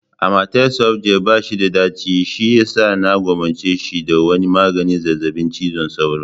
Amatel soft gel bashi da daci shiyasa na gwammace shi da wani maganin zazzabin cizon sauro.